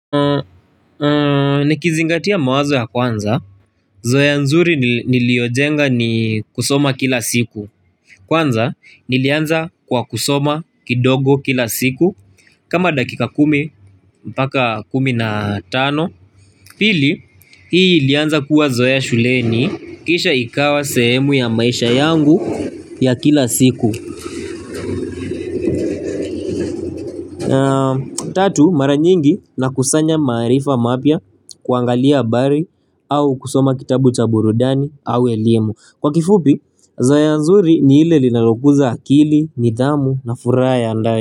Nikizingatia mawazo ya kwanza, zoea nzuri niliojenga ni kusoma kila siku. Kwanza, nilianza kwa kusoma kidogo kila siku kama dakika kumi, mpaka kumi na tano Pili, hii ilianza kuwa zoea shuleni Kisha ikawa sehemu ya maisha yangu ya kila siku. Tatu mara nyingi na kusanya maarifa mapia, kuangalia bari au kusoma kitabu cha burudani au elimu, Kwa kifupi, zoea nzuri ni ile linalokuza akili, nidhamu na fura ya ndani.